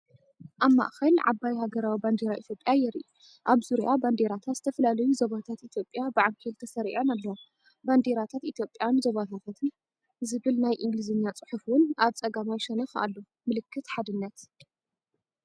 ኣብ ማእኸል ዓባይ ሃገራዊ ባንዴራ ኢትዮጵያ የርኢ። ኣብ ዙርያኣ ባንዴራታት ዝተፈላለዩ ዞባታት ኢትዮጵያ ብዓንኬል ተሰሪዐን ኣለዋ። "ባንዴራታት ኢትዮጵያን ዞባታታን" ዝብል ናይ እንግሊዝኛ ጽሑፍ'ውን ኣብ ጸጋማይ ሸነኽ ኣሎ። ምልክት ሓድነት!